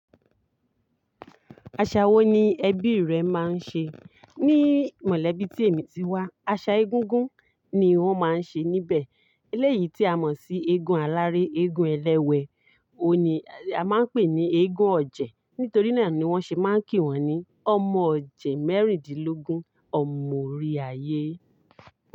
Aṣa wo ni ẹbí rẹ máa ń ṣe? Ní mọ̀lẹ́bí tí èmi ti wá, aṣa egúngún ni wọ́n máa ń ṣe níbẹ̀. Eléyìí tí a mọ̀ sí eégún aláré, eégún ẹlẹ́wẹ̀, òun ni, a máa ń pè ní eégún ọ̀jẹ̀. Nítorí náà ni wọ́n ṣe máa ń kí wọn ní "ọmọ ọ̀jẹ̀ mẹ́rìndínlógún, ọmọ orí àyè".